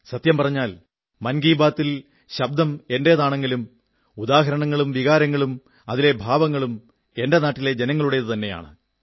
സത്യം പറഞ്ഞാൽ മൻ കീ ബാതിൽ ശബ്ദം എന്റേതാണെങ്കിലും ഉദാഹരണങ്ങളും വികാരങ്ങളും അതിലെ ഭാവങ്ങളും എന്റെ നാട്ടിലെ ജനങ്ങളുടേതു തന്നെയാണ്